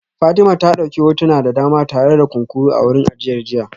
Fatima ta dauki hotuna da dama tare da kunkuru a wurin ajiyar jiya